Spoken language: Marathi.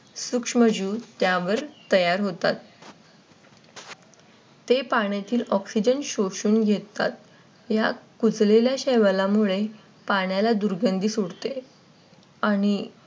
सूक्ष्मजीव त्यावर तयार होतात. ते पाण्यातील Oxygen घेतात या कुजलेल्या शेवाळामुळे पाण्याला दुर्गंधी सुटते आणि